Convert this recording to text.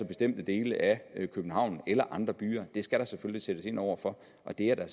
bestemte dele af københavn eller i andre byer det skal der sættes ind over for og det er der